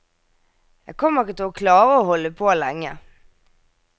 Jeg kommer ikke til å klare å holde på lenge.